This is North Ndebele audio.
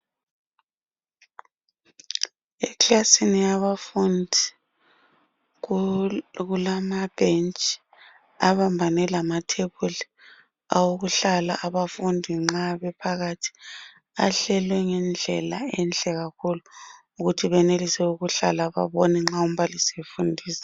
ikilasi yabafundi okulamabhenji abambane lamathafula okuhlala abafundi nxabephakathi ahleli ngedlela enhle kakhulu ukwenzela ukuthi umbalisi esefundisa